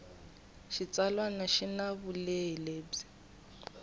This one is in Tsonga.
xitsalwana xi na vulehi lebyi